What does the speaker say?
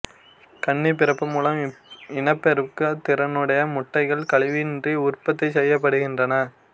கன்னிப்பிறப்பு மூலம் இனப்பெருக்க திறனுடைய முட்டைகள் கலவியின்றி உற்பத்தி செய்யப்படுகின்றன